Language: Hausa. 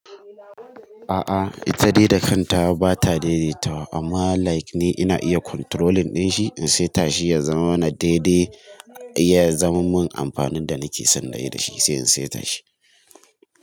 A'a ita dai da kanta ba ta daidaitawa amma like ni ina iya controlling din shi in saita shi ya zamana daidai, ya zaman mun amfanin da nake son nayi da shi sai in saita shi.